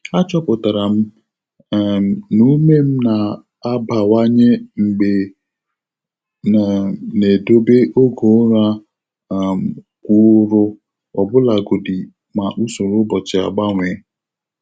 Achọpụtara m um na ume m na-abawanye mgbe um m na-edobe oge ụra um kwụụrụ, ọbụlagodi ma usoro ụbọchị agbanwe.